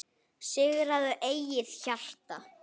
Sigraðu eigið hjarta